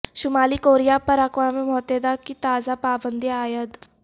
شمالی کوریا پر اقوام متحدہ کی تازہ پابندیاں عائد